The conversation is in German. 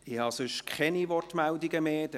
Ich habe keine weiteren Wortmeldungen mehr.